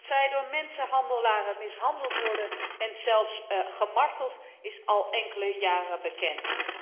Dat zij door mensenhandelaren mishandeld worden en zelfs gemarteld, is al enkele jaren bekend.